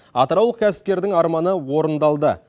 атыраулық кәсіпкердің арманы орындалды